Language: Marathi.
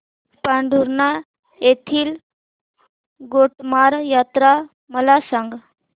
पांढुर्णा येथील गोटमार यात्रा मला सांग